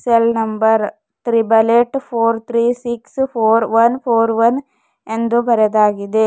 Cell number triple eight four three six four one four one ಎಂದು ಬರೆದಾಗಿದೆ.